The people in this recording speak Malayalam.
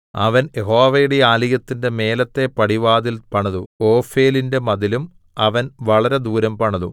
അവൻ യഹോവയുടെ ആലയത്തിന്റെ മേലത്തെ പടിവാതിൽ പണിതു ഓഫേലിന്റെ മതിലും അവൻ വളരെ ദൂരം പണിതു